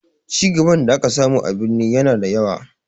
Cigaban da aka samu a birni ya na da yawa